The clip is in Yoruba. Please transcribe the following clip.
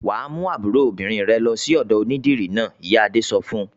"Wà á mú àbúrò obìnrin rẹ lọ sí ọ̀dọ̀ onídìrí náà!" Ìyá Adé sọ fún un.